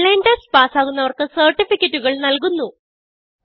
online test പാസ്സാകുന്നവർക്ക് സർട്ടിഫികറ്റുകൾ നല്കുന്നു